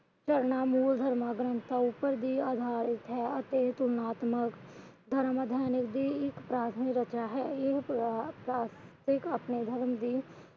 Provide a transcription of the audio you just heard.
ਮੂਲ ਧਰਮ ਗ੍ਰੰਥਾਂ ਉੱਪਰ ਵੀ ਅਧਾਰਿਤ ਹੈ ਅਤੇ ਤੁਲਨਾਤਮਕ ਇਕ ਪ੍ਰਾਥਮਿਕ ਰਚਨਾ ਹੈ। ਆਪਣੇ ਧਰਮ ਦੀ